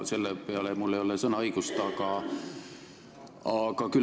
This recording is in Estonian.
Selle peale ei ole mul õigust sõna võtta.